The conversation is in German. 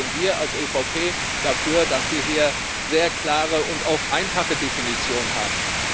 Deshalb sind wir als EVP dafür, dass wir hier sehr klare und auch einfache Definitionen haben.